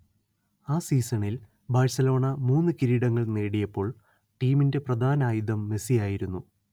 ആ സീസണിൽ ബാർസലോണ മൂന്ന് കിരീടങ്ങൾ നേടിയപ്പോൾ ടീമിന്റെ പ്രധാന ആയുധം മെസ്സി ആയിരുന്നു